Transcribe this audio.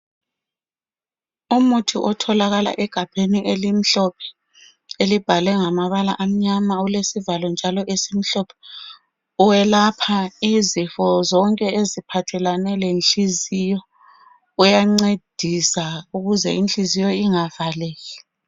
Umuthi otholakale egabheni elimhlophe elibhalwe ngamabala amnyama olesivalo njalo esimhlophe welapha izifo zonke eziphathelane lenhliziyo uyancedisa ukuze inhliziyo ingavaleki.